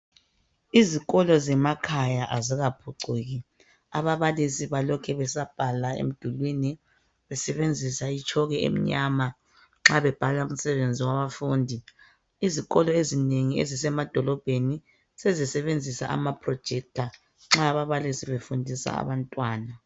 Izikolo zemakhaya azikaphucuki, ababalisi balokhe besabhala emdulwini besebenzisa itshoko emnyama nxa bebhala umsebenzi wabafundi. Izikolo ezinengi ezisemadolobheni sezisebenzisa ama"projector" nxa ababalisi befundisa abantwana.